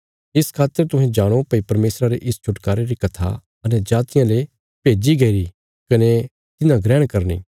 इस खातर तुहें जाणो भई परमेशरा रे इस छुटकारे री कथा अन्यजातियां ले भेज्जी गईरी कने तिन्हां ग्रहण करनी